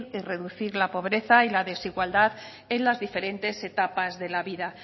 y reducir la pobreza y la desigualdad en las diferentes etapas de la vida